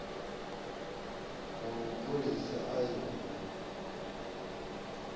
wa mapholisa a ye a